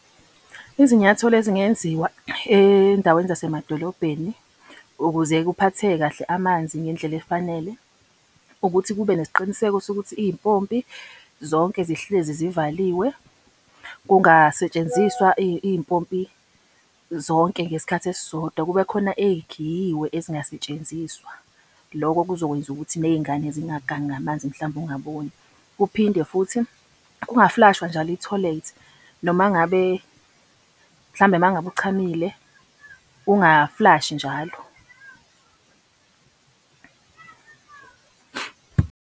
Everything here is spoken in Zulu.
Izinyathelo ezingenziwa ey'ndaweni zasemadolobheni ukuze kuphatheke kahle amanzi ngendlela efanele, ukuthi kube nesiqiniseko sokuthi iy'mpompi zonke zihlezi zivaliwe. Kungasentshenziswa iy'mpompi zonke ngesikhathi esisodwa kube khona ey'khiyiwe ezingasetshenziswa. Loko kuzokwenza ukuthi ney'ngane zingagangi ngamanzi mhlampe ungaboni. Kuphinde futhi kungafulashwa njalo ithoyilethi. Noma ngabe, mhlambe uma ngabe uchamile ungaflashi njalo .